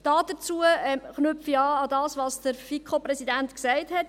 Dazu knüpfe ich an das vom FiKo-Präsidenten Gesagten an.